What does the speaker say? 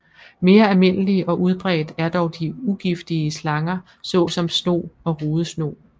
Mere almindelig og udbredt er dog de ugiftige slanger såsom snog og rudesnog